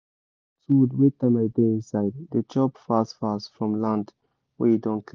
wood wey termite dey inside dey chop fast fast from land wey you don clear